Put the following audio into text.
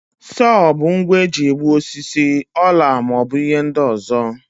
Sowo bụ ngwa eji egbu osisi, ọla ma ọ bụ ihe ndị ọzọ.